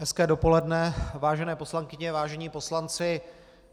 Hezké dopoledne, vážené poslankyně, vážení poslanci.